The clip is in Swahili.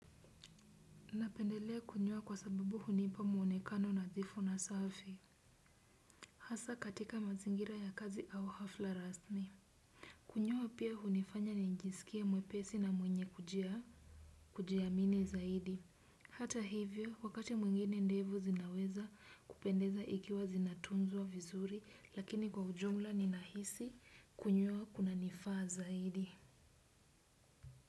Napendelea kunyoa kwa sababu hunipa muonekano nadhifu na safi. Hasaa katika mazingira ya kazi au hafla rasmi. Kunyoa pia hunifanya nijisikie mwepesi na mwenye kujiamini zaidi. Hata hivyo, wakati mwingine ndevu zinaweza kupendeza ikiwa zinatunzwa vizuri, lakini kwa ujumla ninahisi kunyoa kuna nifaa zaidi.